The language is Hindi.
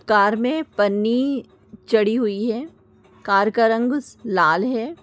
कार मे पन्नी चढ़ी हुई है कार का रंग लाल है।